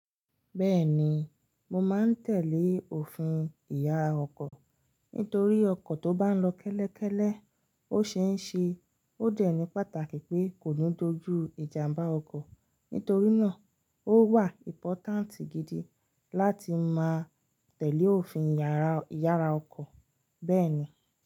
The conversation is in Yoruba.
Bẹ́ẹ̀ni, mo máa ń tẹ̀lé òfin ìyàrá ọkọ̀ nítorí ọkọ̀ tó bá lọ kẹ́lẹ́kẹ́lẹ́ ó ṣeé ṣe ó dẹ̀ ní pàtàkì pé kò nú tó ju ìjàmbá ọkọ̀. Nítorí náà ó wà important gidi láti máa tẹ̀lé òfin ìyàrá ọkọ̀ bẹ́ẹ̀ni.